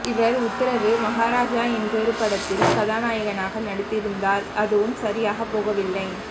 இவர் உத்தரவு மஹாராஜா என்றொரு படத்தில் கதாநாயகனாக நடித்திருந்தார் அதுவும் சரியாக போகவில்லை